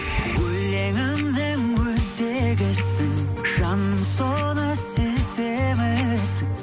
өлеңімнің өзегісің жаным соны сеземісің